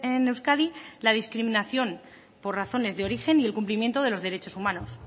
en euskadi la discriminación por razones de origen y el cumplimiento de los derechos humanos